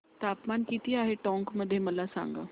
तापमान किती आहे टोंक मध्ये मला सांगा